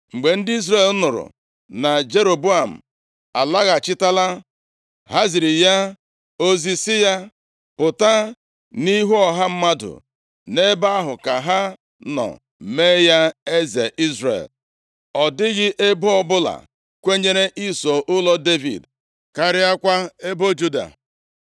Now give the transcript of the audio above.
Mgbe ndị Izrel nụrụ na Jeroboam alaghachitala, ha ziri ya ozi sị ya pụta nʼihu ọha mmadụ. Nʼebe ahụ ka ha nọ mee ya eze Izrel. Ọ dịghị ebo ọbụla kwenyere iso ụlọ Devid, karịakwa ebo Juda.